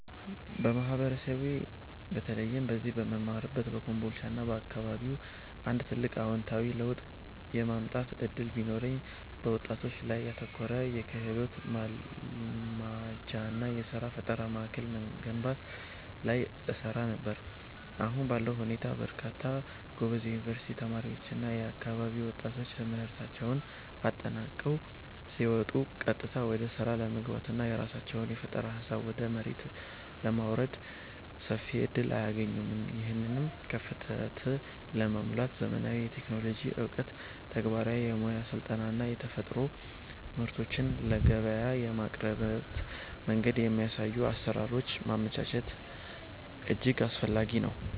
በማህበረሰቤ በተለይም እዚህ በምማርበት በኮምቦልቻና አካባቢው አንድ ትልቅ አዎንታዊ ለውጥ የማምጣት ዕድል ቢኖረኝ፣ በወጣቶች ላይ ያተኮረ የክህሎት ማልማጃና የሥራ ፈጠራ ማዕከል መገንባት ላይ እሰራ ነበር። አሁን ባለው ሁኔታ በርካታ ጎበዝ የዩኒቨርሲቲ ተማሪዎችና የአካባቢው ወጣቶች ትምህርታቸውን አጠናቀው ሲወጡ ቀጥታ ወደ ሥራ ለመግባትና የራሳቸውን የፈጠራ ሃሳብ ወደ መሬት ለማውረድ ሰፊ ዕድል አያገኙም። ይህንን ክፍተት ለመሙላት ዘመናዊ የቴክኖሎጂ ዕውቀት፣ ተግባራዊ የሙያ ስልጠናዎችና የተፈጠሩ ምርቶችን ለገበያ የሚያቀርቡበትን መንገድ የሚያሳዩ አሰራሮችን ማመቻቸት እጅግ አስፈላጊ ነው።